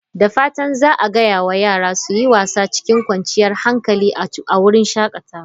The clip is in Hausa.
Da fatan za a gaya wa yara su yi wasa cikin kwanciyar hankali a wurin shakatawa.